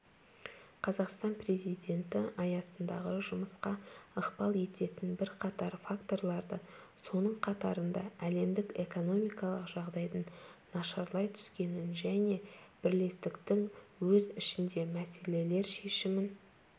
қазақстан президенті аясындағы жұмысқа ықпал ететін бірқатар факторларды соның қатарында әлемдік экономикалық жағдайдың нашарлай түскенін және бірлестіктің өз ішіндегі мәселелер шешімін